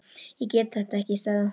Ég get þetta ekki, sagði hún.